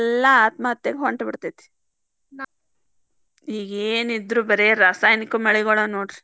ಸಾಲ ತಿರ್ಸಾಕ್ಲಗಲಾರದೆ ಎಲ್ಲಾ ಆತ್ಮಹತ್ತೆಕ ಹೊಂಟಬಿಡ್ತೇತಿ. ಈಗೇನಿದ್ರೂ ಬರೇ ರಾಸಾಯನಿಕ ಮಳಿಗೊಳ ನೋಡ್ರಿ.